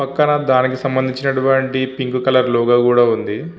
పక్కన దానికి సంబంచినటువంటి పింక్ కలర్ లోగో కూడా ఉంది.